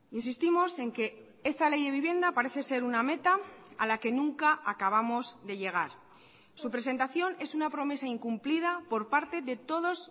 insistimos en que esta ley de vivienda parece ser una meta a la que nunca acabamos de llegar su presentación es una promesa incumplida por parte de todos